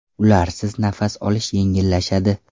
Ularsiz nafas olish yengillashadi.